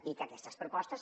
i aquestes propostes